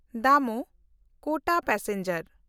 ᱫᱟᱢᱳᱦ–ᱠᱳᱴᱟ passenger